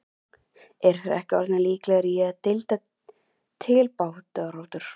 Eru þeir ekki orðnir líklegir í deildar titilbaráttu??